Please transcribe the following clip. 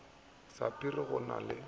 ya sapphire ga go na